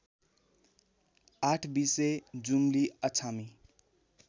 आठबीसे जुम्ली अछामी